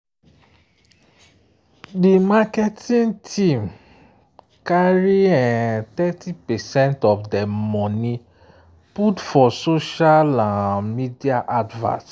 um di marketing team carry um thirty percent of dem money put for social um media advert.